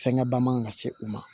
Fɛngɛ ba man kan ka se u ma